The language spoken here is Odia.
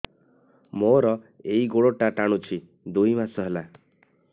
ମୋର ଏଇ ଗୋଡ଼ଟା ଟାଣୁଛି ଦୁଇ ମାସ ହେଲା